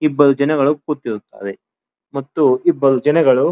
ಇಬ್ಬರು ಜನಗಳು ಕೂತಿರುತ್ತಾರೆ ಮತ್ತಿ ಇಬ್ಬರು ಜನಗಳು --